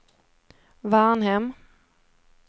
Varnhem